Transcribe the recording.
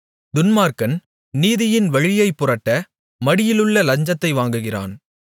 துன்மார்க்கன் நீதியின் வழியைப்புரட்ட மடியிலுள்ள லஞ்சத்தை வாங்குகிறான்